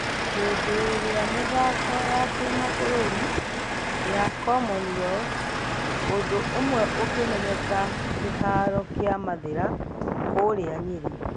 Hendeirĩa ......mĩthako ya kĩmafũrurĩ ya commonwealth ũndũ ũmwe ukimenyeka kĩharo kia mathera kũria nyeri .